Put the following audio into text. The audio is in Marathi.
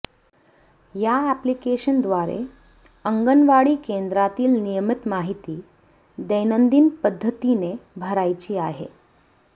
या अप्लिकेशनद्वारे अंगणवाडी केंद्रातील नियमित माहिती दैनंदिन पद्धतीने भरायची आहे